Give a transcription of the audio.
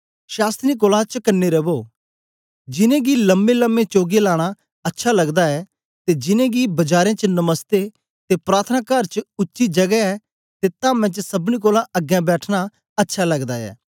शास्त्रियें कोलां चकने रवो जिनैं गी लम्मेलम्मे चोगे लाना अच्छा लगदा ऐ ते जिनेंगी बजारें च नमस्ते ते प्रार्थनाकार च उच्ची जगै ते धामें च सबनी कोलां अगें बैठना अच्छा लगदा ऐ